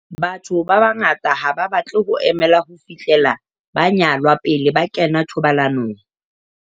Batho ba bangata ha ba batle ho emela ho fihlela ba nyalwa pele ba kena thobalanong.